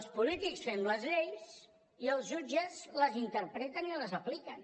els polítics fem les lleis i els jutges les interpreten i les apliquen